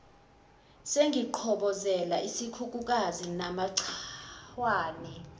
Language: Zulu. sengiqhobozela isikhukhukazi namachwane